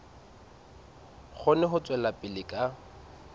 kgone ho tswela pele ka